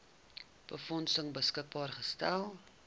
befondsing beskikbaar gestel